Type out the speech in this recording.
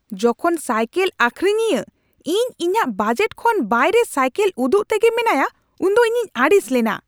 ᱡᱚᱠᱷᱚᱱ ᱥᱟᱭᱠᱮᱞ ᱟᱹᱠᱷᱨᱤᱧᱤᱭᱟᱹ ᱤᱧ ᱤᱧᱟᱹᱜ ᱵᱟᱡᱮᱴ ᱠᱷᱚᱱ ᱵᱟᱭᱨᱮ ᱥᱟᱭᱠᱮᱞ ᱩᱫᱩᱜ ᱛᱮᱜᱮ ᱢᱮᱱᱟᱭᱟ ᱩᱱᱫᱚ ᱤᱧᱤᱧ ᱟᱹᱲᱤᱥ ᱞᱮᱱᱟ ᱾